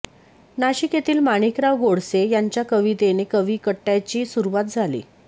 नाशिक येथील माणिकराव गोडसे यांच्या कवितेने कवी कट्टयाची सुरुवात झाली